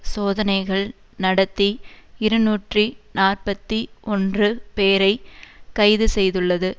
சோதனைகள் நடத்தி இருநூற்றி நாற்பத்தி ஒன்று பேரை கைது செய்துள்ளது